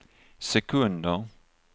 sekunder